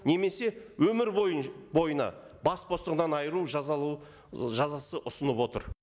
немесе өмір бойы бойына бас бостандығынан айыру жазасы ұсынып отыр